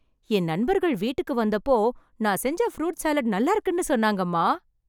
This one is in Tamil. என் நண்பர்கள் வீட்டுக்கு வந்தப்போ, நான் செஞ்ச ஃப்ரூட் சாலட் நல்லாருக்குன்னு சொன்னாங்கம்மா...